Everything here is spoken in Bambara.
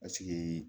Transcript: Paseke